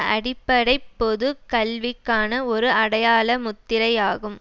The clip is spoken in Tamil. அடிப்படை பொது கல்விக்கான ஒரு அடையாள முத்திரையாகும்